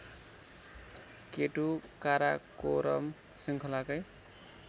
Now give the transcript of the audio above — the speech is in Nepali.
केटु काराकोरम श्रृङ्खलाकै